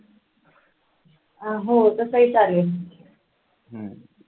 अं हो तसंही चालेल